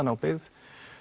ná byggð